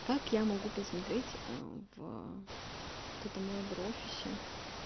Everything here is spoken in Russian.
как я могу посмотреть в этом лайбра офисе